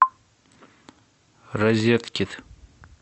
розеткид